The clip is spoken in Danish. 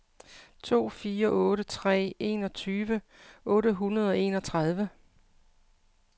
to fire otte tre enogtyve otte hundrede og enogtredive